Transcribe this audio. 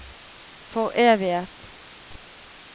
foreviget